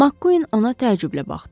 Makkuin ona təəccüblə baxdı.